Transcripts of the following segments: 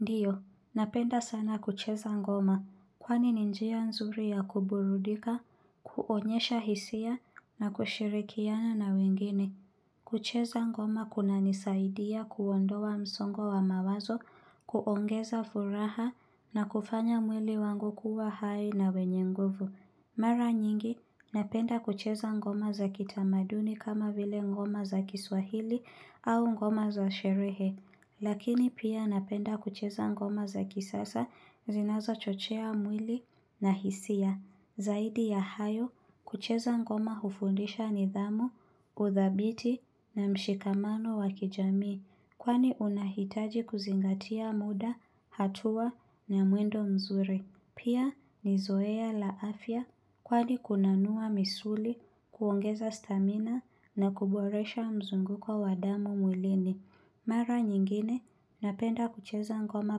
Ndiyo, napenda sana kucheza ngoma, kwani n injia nzuri ya kuburudika, kuonyesha hisia, na kushirikiana na wengine. Kucheza ngoma kuna nisaidia kuondowa msongo wa mawazo, kuongeza furaha, na kufanya mwili wangu kuwa hai na wenye nguvu. Mara nyingi, napenda kucheza ngoma za kitamaduni kama vile ngoma za kiswahili au ngoma za sherehe. Lakini pia napenda kucheza ngoma za kisasa zinaza chochea mwili na hisia. Zaidi ya hayo kucheza ngoma ufundisha nidhamu, uthabiti na mshikamano wakijamii. Kwani unahitaji kuzingatia muda, hatua na muendo mzuri. Pia nizoea la afya kwani kunanua misuli, kuongeza stamina na kuboresha mzungu kwa wadamu mwilini. Mara nyingine, napenda kucheza ngoma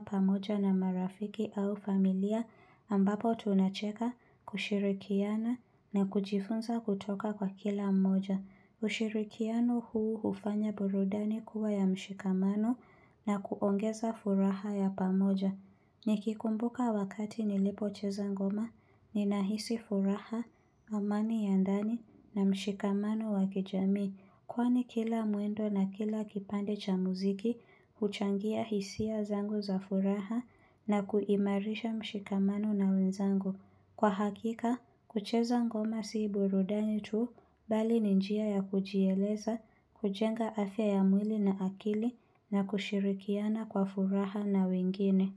pamoja na marafiki au familia ambapo tunacheka kushirikiana na kujifunza kutoka kwa kila mmoja. Kushirikiano huu ufanya burudani kuwa ya mshikamano na kuongeza furaha ya pamoja. Nikikumbuka wakati nilipo cheza ngoma, ninahisi furaha, amani ya ndani na mshikamano wakijami. Kwani kila muendo na kila kipande cha muziki, kuchangia hisia zangu za furaha na kuimarisha mshikamanu na wenzangu. Kwa hakika, kucheza ngoma siiburudani tu, bali ninjia ya kujieleza, kujenga afya ya mwili na akili na kushirikiana kwa furaha na wengine.